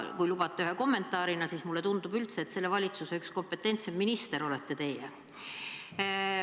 Kui lubate ühe kommentaari, siis mulle tundub üldse, et selle valitsuse üks kompetentsemaid ministreid olete teie.